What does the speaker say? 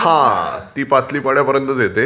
हा. ती पाटली पाड्यापर्यंतच येते.